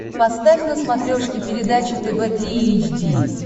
поставь на смотрешке передачу тв три эйч ди